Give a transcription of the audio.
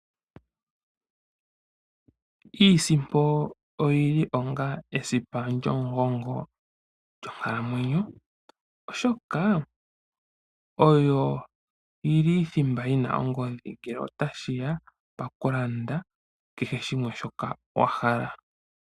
Iisimpo oyi li onga esipa lyomugongo lyonkalamwenyo, oshoka oyo ili thimba yina ongodhi ngele tashiya pu kehe shimwe shoka wa hala okulanda.